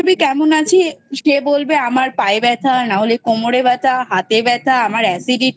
কেমন আছিস কে বলবে আমার পায়ে ব্যাথা নাহলে কোমরে ব্যাথা হাতে ব্যাথা আমার acidity